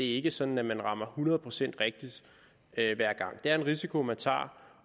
ikke sådan at man rammer hundrede procent rigtigt hver gang det er en risiko man tager